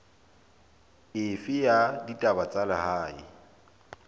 efe ya ditaba tsa lehae